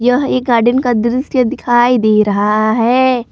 यह एक गार्डन का दृश्य दिखाई दे रहा है।